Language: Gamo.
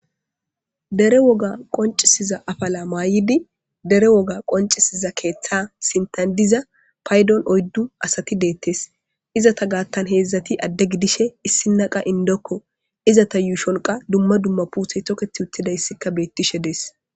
Dere woga qoncisiza afala mayidi,dere woga qoncisiza keetha sinthan diza Payson oydu gidiza asati de'etes. Izeta giddin heedzati added gidishin issina qas indoko. Izeta yuushonka qas dumma dumma miththa puuteti toketishe deetees.